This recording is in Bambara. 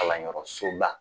Kalanyɔrɔsoba